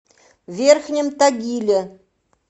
верхнем тагиле